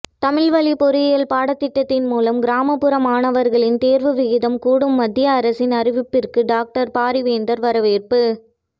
தமிழ்வழி பொறியியல் பாடத்திட்டம் மூலம் கிராமப்புற மாணவர்களின் தேர்வு விகிதம் கூடும் மத்திய அரசின் அறிவிப்பிற்கு டாக்டர் பாரிவேந்தர் வரவேற்பு